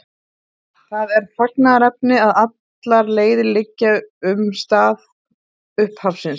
Það er fagnaðarefni að allar leiðir liggja um stað upphafsins.